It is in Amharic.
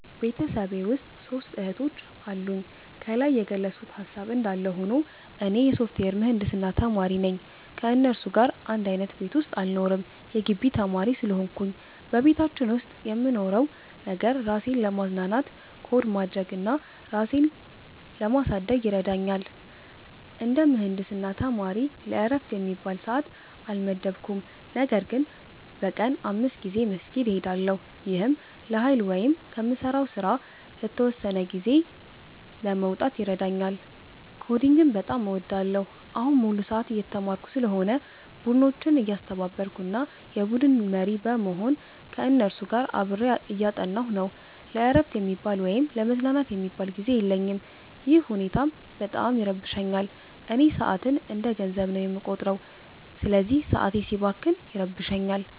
ቤተሰቤ ውስጥ ሦስት እህቶች አሉኝ። ከላይ የገለጽኩት ሃሳብ እንዳለ ሆኖ፣ እኔ የሶፍትዌር ምህንድስና ተማሪ ነኝ። ከእነሱ ጋር አንድ አይነት ቤት ውስጥ አልኖርም የጊቢ ተማሪ ስለሆንኩኝ። በቤታችን ውስጥ የምንኖረው ነገር፣ ራሴን ለማዝናናት ኮድ ማድረግ እና ራሴን ለማሳደግ ይረዳኛል። እንደ ምህንድስና ተማሪ ለዕረፍት የሚባል ሰዓት አልመደብኩም፤ ነገር ግን በቀን 5 ጊዜ መስጊድ እሄዳለሁ። ይህም ለኃይል ወይም ከምሠራው ሥራ ለተወሰነ ጊዜ ለመውጣት ይረዳኛል። ኮዲንግን በጣም እወዳለሁ። አሁን ሙሉ ሰዓት እየተማርኩ ስለሆነ፣ ቡድኖችን እያስተባበርኩ እና የቡድን መሪ በመሆን ከእነሱ ጋር አብሬ እያጠናሁ ነው። ለዕረፍት የሚባል ወይም ለመዝናናት የሚሆን ጊዜ የለኝም፤ ይህ ሁኔታም በጣም ይረብሸኛል። እኔ ሰዓትን እንደ ገንዘብ ነው የምቆጥረው፤ ስለዚህ ሰዓቴ ሲባክን ይረብሸኛል